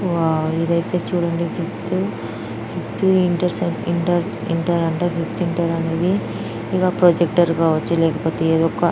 Wow ఏదైతే చుడండి చుట్టూ అనేది ఇవొక ప్రొజెక్టర్ కావచ్చు. లేకపోతె --]